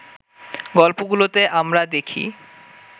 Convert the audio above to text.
গল্পগুলোতে আমরা দেখি